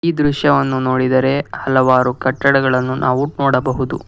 ಈ ದೃಶ್ಯವನ್ನು ನೋಡಿದರೆ ಹಲವಾರು ಕಟ್ಟಡಗಳನ್ನು ನಾವು ನೋಡಬಹುದು.